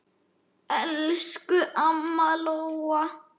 Elsku amma Lóa.